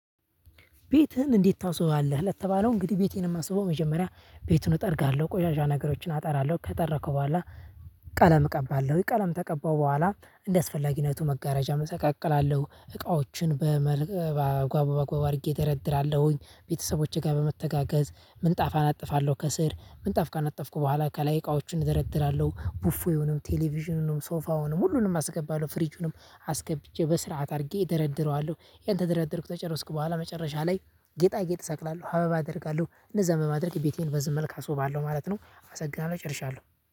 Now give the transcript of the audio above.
ቤትህን እንዴት ታስውባለህ? ለተባለው እንግዲህ ቤቴን የማስበው መጀመሪያ ቤቱን እጠርጋለሁ ቆሻሻ ነገሮችን አጠራለሁ ከጠረኩ በኋላ። ቀለም እቀባለሁ ቀለም ከቀባው በኋላ እንደስፈላጊነቱ መጋረጃ እሰቃቃላለሁ እቃዎችን በመልክ ጓቦ አድርጌ ደረደራለሁኝ። ቤተሰቦቼ ጋር በመተጋገዝ ምንጣፋን አጥፋለሁ ከስር ምንጣፍ ካነጠፍኩ በኋላ ከላይ እቃዎችን እደረድራለሁ ቡፎ ይሆንም ቴሌቪዥኑንም ሶፋውንም ሁሉንም አስገባለሁ ፍሪጁንም አስገብቼ በስርዓት አድርጌ እደረድረዋለሁ። ያን ተደረድርኩ ተጨርስክ በኋላ መጨረሻ ላይ ጌጣ ጌጥ ሰቅላለሁ አበባ አደርጋለሁ። እንደዛ በማድረግ ቤቴን በዚህ መልክ አስውባለው ማለት ነው። አመሰግናለሁ እጨርሻለሁ